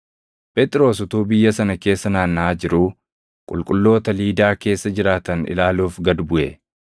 Phexros utuu biyya sana keessa naannaʼaa jiruu qulqulloota Liidaa keessa jiraatan ilaaluuf gad buʼe.